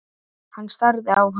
Hann starði á hann.